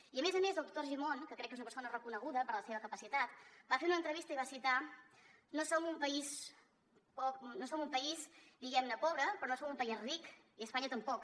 i a més a més el doctor argimon que crec que és una persona reconeguda per la seva capacitat va fer una entrevista i va citar no som un país diguem ne pobre però no som un país ric i espanya tampoc